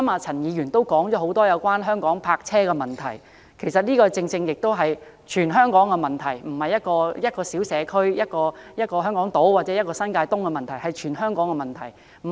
陳議員剛才也提及有關香港泊車的問題，這是全香港的問題，並非一個小社區、香港島或新界東的問題。